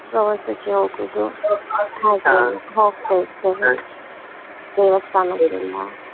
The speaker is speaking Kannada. ಪ್ರವಾಸಕ್ಕೆ ಹೋಗುದು ದೇವಸ್ಥಾನಕ್ಕೆ